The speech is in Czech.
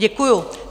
Děkuju.